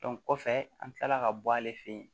kɔfɛ an kilala ka bɔ ale fɛ yen